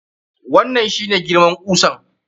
Wannan shi ne girman kusan?